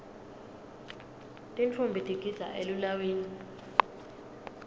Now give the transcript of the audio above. tintfombi tigidza elilawini